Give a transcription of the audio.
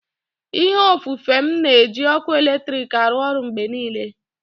ihe ofufe m na-eji ọkụ eletrik arụ ọrụ mgbe niile